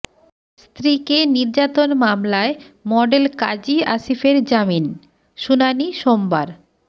স্ত্রীকে নির্যাতন মামলায় মডেল কাজী আসিফের জামিন শুনানি সোমবার